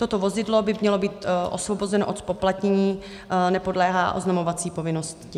Toto vozidlo by mělo být osvobozeno od zpoplatnění, nepodléhá oznamovací povinnosti.